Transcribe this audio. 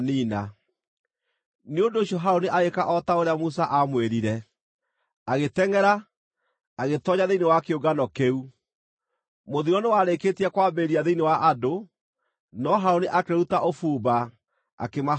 Nĩ ũndũ ũcio Harũni agĩĩka o ta ũrĩa Musa aamwĩrire, agĩtengʼera agĩtoonya thĩinĩ wa kĩũngano kĩu. Mũthiro nĩwarĩĩkĩtie kwambĩrĩria thĩinĩ wa andũ, no Harũni akĩruta ũbumba akĩmahoroheria.